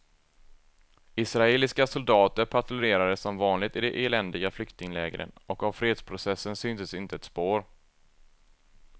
Israeliska soldater patrullerade som vanligt i de eländiga flyktinglägren och av fredsprocessen syntes inte ett spår.